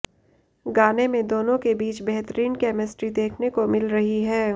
गानें में दोनों के बीच बेहतरीन केमिस्ट्री देखने को मिल रही है